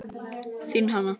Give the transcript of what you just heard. Þín Hanna.